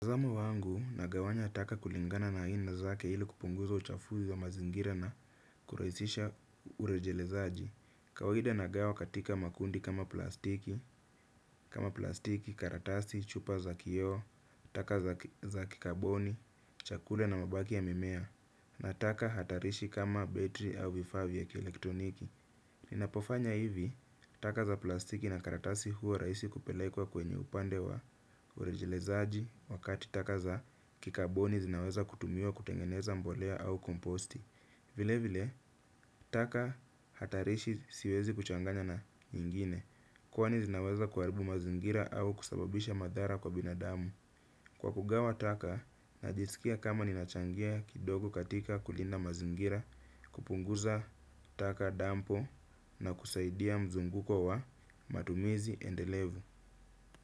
Zamu wangu nagawanya taka kulingana na aina zake ili kupunguza uchafuzi wa mazingira na kurahisisha urejelezaji. Kawaida nagawa katika makundi kama plastiki kama plastiki, karatasi, chupa za kio, taka za kikaboni, chakula na mabaki ya mimea. Na taka hatarishi kama betri au vifavi ya kielektroniki. Ninapofanya hivi, taka za plastiki na karatasi huwa rahisi kupelekwa kwenye upande wa urejelezaji wakati taka za kikaboni zinaweza kutumiwa kutengeneza mbolea au komposti. Vile vile, taka hatarishi siwezi kuchanganya na nyingine, kwani zinaweza kuaribu mazingira au kusababisha madhara kwa binadamu. Kwa kugawa taka, najisikia kama ninachangia kidogo katika kulinda mazingira, kupunguza taka dampo na kusaidia mzunguko wa matumizi endelevu.